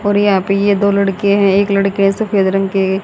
और यहां पे ये दो लड़के हैं एक लड़के सफेद रंग के--